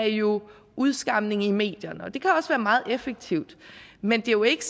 jo udskamning i medierne og det kan også være meget effektivt men det er jo ikke